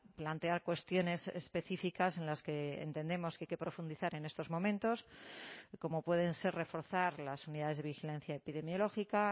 plantear cuestiones específicas en las que entendemos que hay que profundizar en estos momentos como pueden ser reforzar las unidades de vigilancia epidemiológica